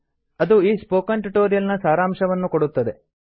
ಅದು ಈ spoken tutorial ನ ಸಾರಂಶವನ್ನು ಕೊಡುತ್ತದೆ